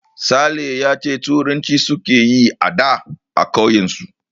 Sale ya ce turanci suke yi ada a ƙauyen su